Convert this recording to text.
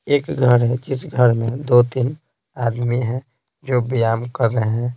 एक घर है जिस घर में दो-तीन आदमी हैं जो व्यायाम कर रहे हैं।